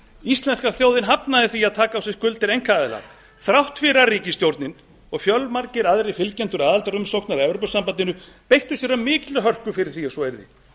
íslenska þjóðin hafnaði því að taka á sig skuldir einkaaðila þrátt fyrir að ríkisstjórnin og fjölmargir aðrir fylgjendur aðildarumsóknar að evrópusambandinu beittu sér af mikilli hörku fyrir því að svo yrði